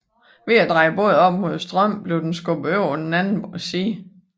Ved at dreje båden op mod strømmen blev den skubbet over til den anden side